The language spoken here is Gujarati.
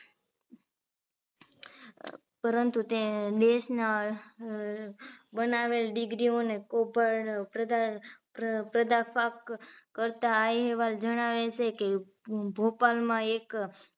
પરંતુ તે દેશના બનાવેલ degree ઓને ઉપર પ્રધાન પ્રધાફાક કરતા આ અહેવાલ જણાવે છે કે ભોપાલમાં એક